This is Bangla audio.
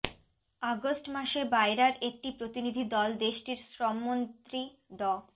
আগস্ট মাসে বায়রার একটি প্রতিনিধি দল দেশটির শ্রমমন্ত্রী ড